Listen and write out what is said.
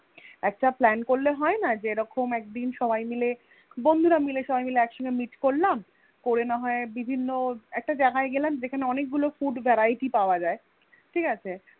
একটা plan করলে হয়না যে এরকম একদিন সবাই মিলে বন্ধুরা মিলে সবাই মিলে একসঙ্গে Meet করলাম করে না হয়ে বিভিন্ন একটা জায়গায় গেলাম যেখানে অনেক গুলো Food Variety পাওয়া যায় ঠিকাছে